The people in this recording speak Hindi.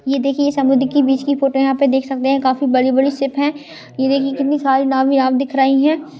ये देखिये ये समुद्र की बीच की फोटो आप देख सकते है काफी बड़ी बड़ी शिप है ये देखिये कितने सारे नाव ही दिख रही है।